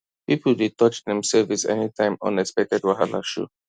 people dey touch dem savings any time unexpected wahala show